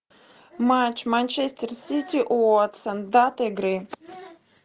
матч манчестер сити уотсон дата игры